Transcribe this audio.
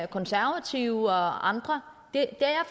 konservative og andre det er